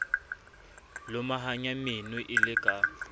lomahanya meno e le ka